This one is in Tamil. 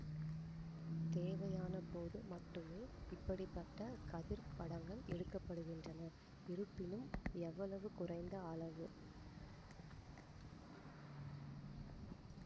தேவையானபோது மட்டுமே இப்படி பட்ட கதிர்ப் படங்கள் எடுக்க படுகின்றன இருப்பினும் எவ்வளவு குறைந்த அளவு